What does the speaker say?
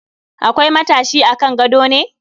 Akwai matashi a kan gadon ne?